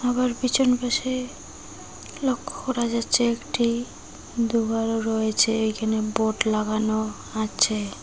আবার পিছন পাশে লক্ষ্য করা যাচ্ছে একটি দেওয়ালও রয়েছে এইখানে বোর্ড লাগানো আছে।